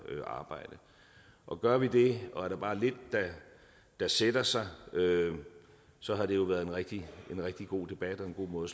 arbejde og gør vi det og er der bare lidt der sætter sig så har det jo været en rigtig god debat og en god måde